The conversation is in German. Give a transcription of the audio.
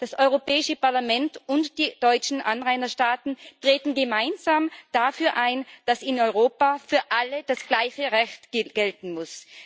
Das Europäische Parlament und die deutschen Anrainerstaaten treten gemeinsam dafür ein, dass in Europa für alle das gleiche Recht gelten muss.